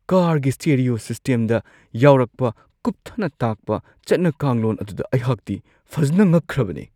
ꯀꯥꯔꯒꯤ ꯁ꯭ꯇꯦꯔꯤꯌꯣ ꯁꯤꯁꯇꯦꯝꯗ ꯌꯥꯎꯔꯛꯄ ꯀꯨꯞꯊꯅ ꯇꯥꯛꯄ ꯆꯠꯅ-ꯀꯥꯡꯂꯣꯟ ꯑꯗꯨꯗ ꯑꯩꯍꯥꯛꯇꯤ ꯐꯖꯅ ꯉꯛꯈ꯭ꯔꯕꯅꯦ ꯫